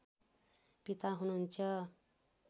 पिता हुनुहुन्छ